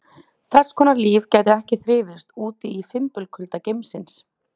Þess konar líf gæti ekki þrifist úti í fimbulkulda geimsins.